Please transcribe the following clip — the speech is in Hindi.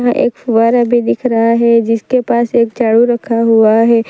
वहां एक फुहारा भी दिख रहा है जिसके पास एक झाड़ू रखा हुआ है।